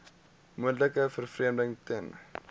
moontlike vervreemding ten